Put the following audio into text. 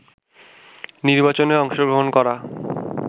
নির্বাচনে অংশগ্রহণ করা